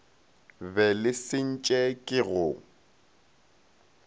be le sentše ke go